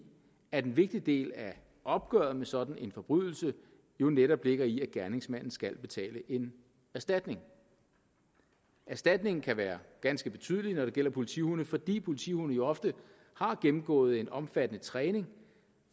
at en vigtig del af opgøret med sådan en forbrydelse jo netop ligger i at gerningsmanden skal betale en erstatning erstatningen kan være ganske betydelig når det gælder politihunde fordi politihunde jo ofte har gennemgået en omfattende træning